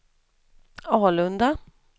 Alunda